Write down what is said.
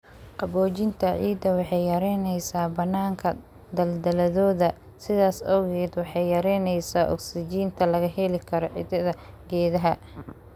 Qaboojinta ciidda waxay yaraynaysaa bannaanka daldaloolada, sidaas awgeed waxay yaraynaysaa ogsijiinta laga heli karo xididdada geedaha.